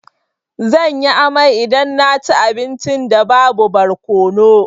Zan yi amai idan na ci abincin da babu barkono.